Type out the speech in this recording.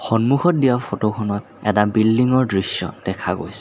সন্মুখত দিয়া ফটো খনত এটা বিল্ডিংৰ দৃশ্য দেখা গৈছে।